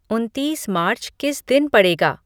उन्तीस मार्च किस दिन पड़ेगा